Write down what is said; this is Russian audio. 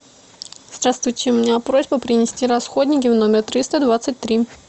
здравствуйте у меня просьба принести расходники в номер триста двадцать три